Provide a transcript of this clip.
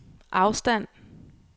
afstand